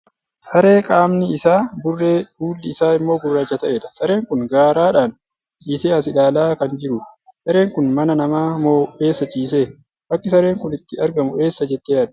Saree qaamni isaa burree; fuulli isaa immoo gurraacha ta'edha. Sareen kun garaadhan ciisee as ilaalaa kan jirudha. Sareen kun mana namaa moo eessa ciisee? Bakki sareen kun itti argamu eessa jettee yaadda?